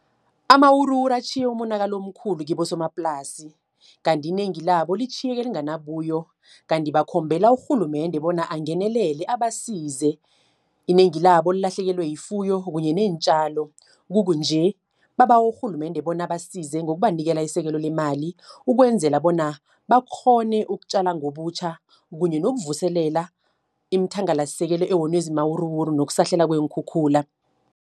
Amawuruwuru atjhiye umonakalo omkhulu kibosomaplasi, kanti inengi labo litjhiyeke lingana buyo. Kanti bakhombela urhulumende, bona angenelele abasize. Inengi labo lilahlekelwe yifuyo kunye neentjalo. Kukunje, babawe urhulumende, bona abasize ngokubanikela isekelo leemali. Ukwenzela bona bakghone ukutjala ngobutjha, kunye nokuvuselela iimithangalasisekelo, ewonwe zimawuruwuru nokusahlela weenkhukhula.